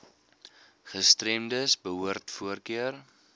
gestremdes behoort voorkeur